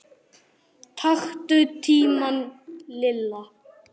Þau áttu saman sjö börn.